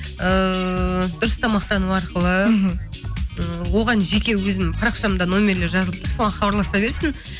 ыыы дұрыс тамақтану арқылы мхм ы оған жеке өзім парақшамда нөмірлері жазылып тұр соған хабарласа берсін